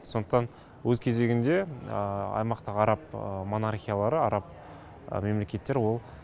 сондықтан өз кезегінде аймақтағы араб монархиялары араб мемлекеттер ол